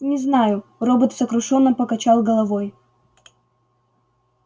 не знаю робот сокрушённо покачал головой